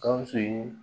Gawusu ye